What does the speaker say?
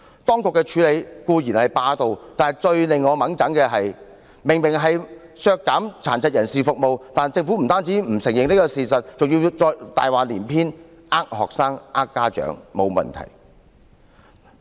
當局的處理手法固然霸道，但最令我氣憤的是，明明就是削減殘疾人士服務，但政府不單不承認事實，更大話連篇地欺騙學生和家長，說不會有問題。